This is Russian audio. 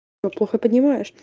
но плохо поднимаешь